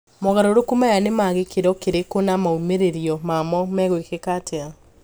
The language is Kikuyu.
Mogaruruku maya ni ma gikiro kirikũ na maumiriro mamo megwikika atia?